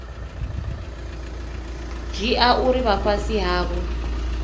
dzhia uri vha fhasi havho